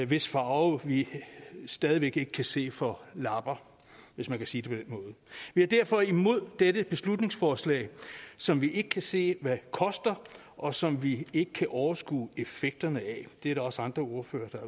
hvis farve vi stadig væk ikke kan se for lapper hvis man kan sige den måde vi er derfor imod dette beslutningsforslag som vi ikke kan se hvad koster og som vi ikke kan overskue effekterne af det er der også andre ordførere der